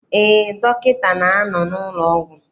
Eé, dọkịta na-anọ n'ụlọọgwụ.